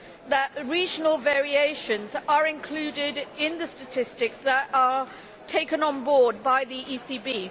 that regional variations are included in the statistics that are taken on board by the ECB.